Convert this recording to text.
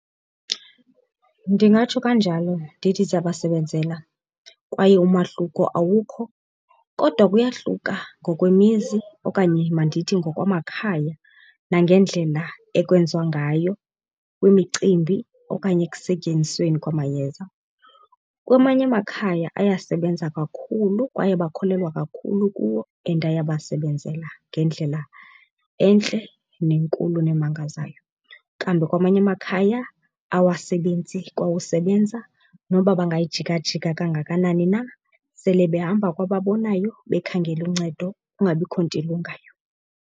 Ndingatsho kanjalo ndithi ziyabasebenzela kwaye umahluko awukho, kodwa kuyahluka ngokwemizi okanye mandithi ngokwamakhaya nangendlela ekwenziwa ngayo kwimicimbi okanye ekusetyenzisweni kwamayeza. Kwamanye amakhaya ayasebenza kakhulu kwaye bakholelwa kakhulu kuwo and ayabasebenzela ngendlela entle nenkulu nemangazayo. Kambe kwamanye amakhaya awasebenzi kwa usebenza noba bangayijikajika kangakanani na, sele behamba kwababonayo bekhangela uncedo kungabikho nto ilungayo.